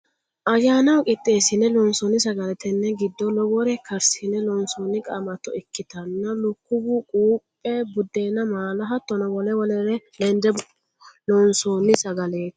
Ayyaannaho qiixeesine loonsonni sagale tene giddo lowore karsine loonsonni qamatto ikkittana lukkuwu quphe budenna maala hattono wole wolereno lende loonsonni sagaleti.